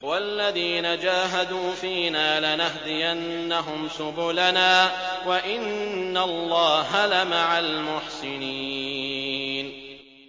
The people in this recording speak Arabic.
وَالَّذِينَ جَاهَدُوا فِينَا لَنَهْدِيَنَّهُمْ سُبُلَنَا ۚ وَإِنَّ اللَّهَ لَمَعَ الْمُحْسِنِينَ